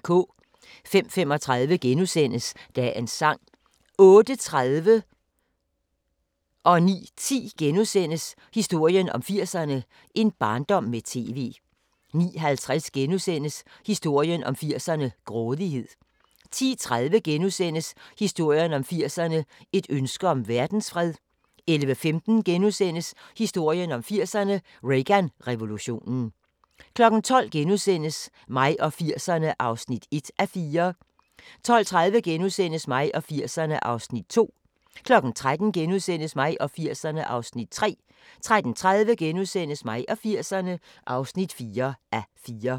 05:35: Dagens Sang * 08:30: Historien om 80'erne: En barndom med TV * 09:10: Historien om 80'erne: En barndom med TV * 09:50: Historien om 80'erne: Grådighed * 10:30: Historien om 80'erne: Et ønske om verdensfred * 11:15: Historien om 80'erne: Reagan-revolutionen * 12:00: Mig og 80'erne (1:4)* 12:30: Mig og 80'erne (2:4)* 13:00: Mig og 80'erne (3:4)* 13:30: Mig og 80'erne (4:4)*